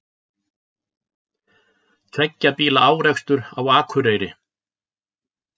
Tveggja bíla árekstur á Akureyri